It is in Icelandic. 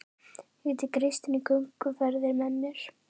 Og tek Kristínu í gönguferðir með mér